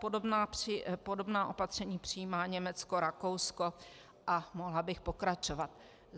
Podobná opatření přijímá Německo, Rakousko a mohla bych pokračovat.